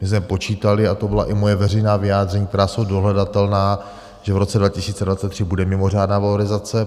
My jsme počítali - a to byla i moje veřejná vyjádření, která jsou dohledatelná - že v roce 2023 bude mimořádná valorizace.